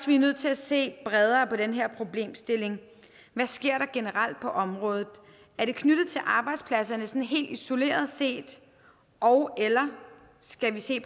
vi er nødt til at se bredere på den her problemstilling hvad sker der generelt på området er det knyttet til arbejdspladserne sådan helt isoleret set ogeller skal vi se